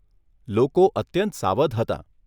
લોકો અત્યંત સાવધ હતાં.